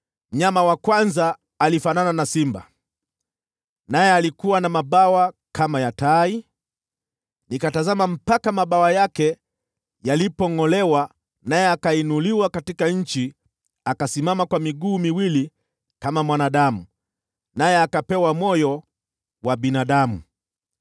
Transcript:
“Mnyama wa kwanza alifanana na simba, naye alikuwa na mabawa kama ya tai. Nikatazama mpaka mabawa yake yalipongʼolewa, naye akainuliwa katika nchi, akasimama kwa miguu miwili kama mwanadamu, naye akapewa moyo wa binadamu.